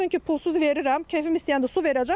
Versin ki, pulsuz verirəm, kefim istəyəndə su verəcəm.